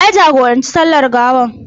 Wa ya jagoranci sallar gawar?